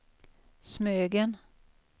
Smögen